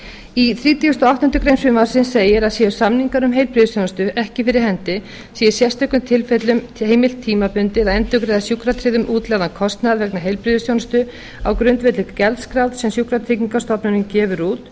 í þrítugasta og áttundu greinar frumvarpsins segir að séu samningar um heilbrigðisþjónustu ekki fyrir hendi sé í sérstökum tilfellum heimilt tímabundið að endurgreiða sjúkratryggðum útlagðan kostnað vegna heilbrigðisþjónustu á grundvelli gjaldskrár sem sjúkratryggingastofnunin gefur út